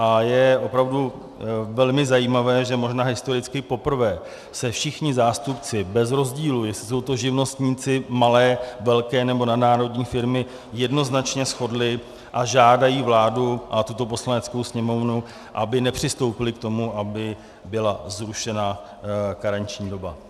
A je opravdu velmi zajímavé, že možná historicky poprvé se všichni zástupci bez rozdílu, jestli jsou to živnostníci, malé, velké nebo nadnárodní firmy, jednoznačně shodli a žádají vládu a tuto Poslaneckou sněmovnu, aby nepřistoupily k tomu, aby byla zrušena karenční doba.